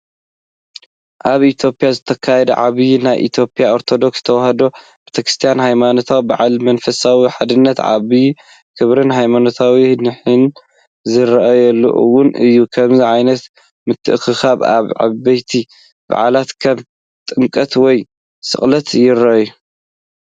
ኣብ ኢትዮጵያ ዝተኻየደ ዓብይ ናይ ኢትዮጵያ ኦርቶዶክስ ተዋህዶ ቤተክርስትያን ሃይማኖታዊ በዓል። መንፈሳዊ ሓድነትን ዓብይ ክብሪን ሃይማኖታዊ ኒሕን ዝረኣየሉ እዋን እዩ። ከምዚ ዓይነት ምትእኽኻብ ኣብ ዓበይቲ በዓላት ከም ጥምቀት ወይ ስቕለት ይርአ።